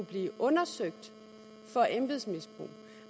blive undersøgt for embedsmisbrug